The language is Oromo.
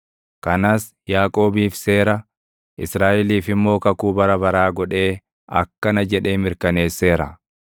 Kanas Yaaqoobiif seera, Israaʼeliif immoo kakuu bara baraa godhee // akkana jedhee mirkaneesseera: